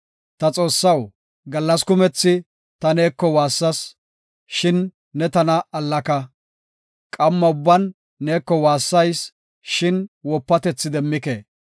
Ta Xoossaw, gallas kumethi ta neeko waassas; shin ne tana allaka. Qamma ubban neeko waassayis, shin wopatethi demmike.